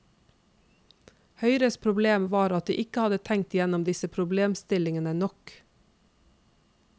Høyres problem var at de ikke hadde tenkt igjennom disse problemstillingene nok.